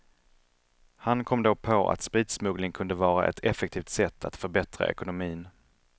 Han kom då på att spritsmuggling kunde vara ett effektivt sätt att förbättra ekonomin.